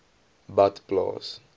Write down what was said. badplaas